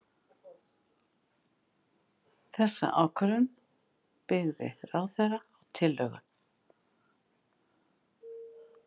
Þessa ákvörðun byggði ráðherra á tillögu